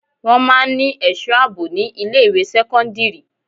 Wọn máa ń ní èso àbò ni ilé ìwé sẹ́kọ́ńdírì.